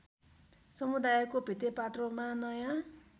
समुदायको भित्तेपात्रोमा नयाँ